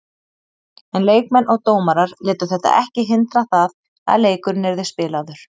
En leikmenn og dómarar létu þetta ekki hindra það að leikurinn yrði spilaður.